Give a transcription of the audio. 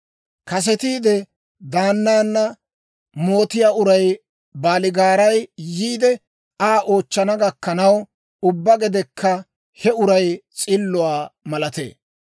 Kasetiide daannan mootiyaa uray baaligaaray yiide Aa oochchana gakkanaw, ubbaa gedekka he uray s'illuwaa malatee.